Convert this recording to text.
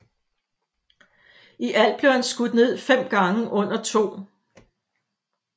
I alt blev han skudt ned fem gange under 2